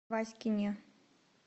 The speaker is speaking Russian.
васькине